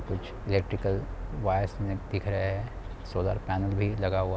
कुछ electrical wires में दिख रहे है सोलर पानल लगा हुआ--